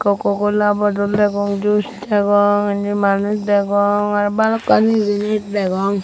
coco cola bottle degong juice degong indi manuj degong aro bhalokkani jinich degong.